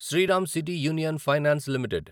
Sriram city union finance limited